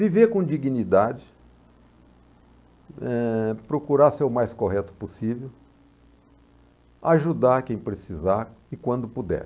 Viver com dignidade, eh, procurar ser o mais correto possível, ajudar quem precisar e quando puder.